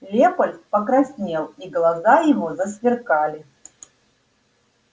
лепольд покраснел и глаза его засверкали